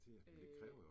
Øh